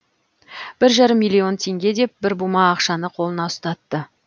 бір жарым миллион теңге деп бір бума ақшаны қолына ұстатты